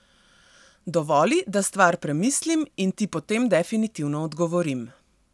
Dovoli, da stvar premislim in Ti potem definitivno odgovorim.